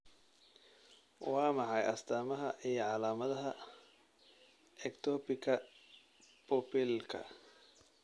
Waa maxay astamaha iyo calaamadaha Ectopika pupillaka?